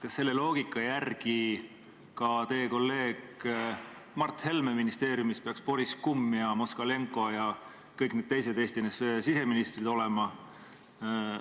Kas selle loogika järgi peaks ka teie kolleegi Mart Helme ministeeriumis olema Boris Kummi, Moskalenko ja kõigi teiste Eesti NSV siseministrite pildid?